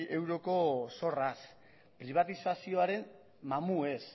euroko zorraz pribatizazioaren mamuez